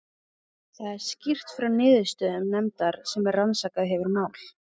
Þar er skýrt frá niðurstöðum nefndar sem rannsakað hefur mál